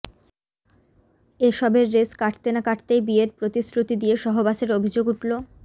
এ সবের রেশ কাটতে না কাটতেই বিয়ের প্রতিশ্রুতি দিয়ে সহবাসের অভিযোগ উঠল